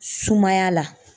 Sumaya la